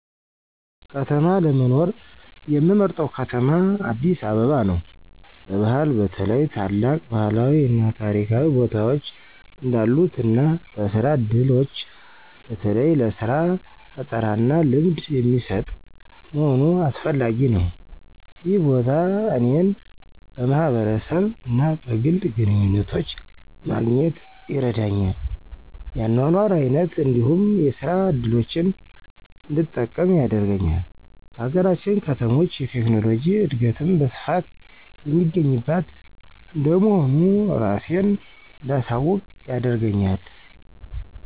ከተማ ለመኖር ምመርጠው ከተማ አዲስ አበባ ነው። በባህል በተለይ ታላቅ ባህላዊ እና ታሪካዊ ቦታዎች እንዳሉት እና በስራ ዕድሎች በተለይ ለሥራ ፈጠራና ልምድ የሚሰጥ መሆኑ አስፈላጊ ነው። ይህ ቦታ እኔን በማህበረሰብ እና በግል ግንኙነቶች ማግኘት ይረዳኛል፤ የአኗኗር አይነት እንዲሁም የስራ እድሎችን እንድጠቀም ያደርገኛል። ከሀገራችን ከተሞች የቴክኖሎጂ እድገትም በስፋት የሚገኝባት እንደመሆኑ እራሴን እንዳሳውቅ ያደርገኛል።